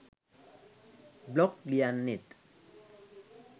blog ලියන්නෙත්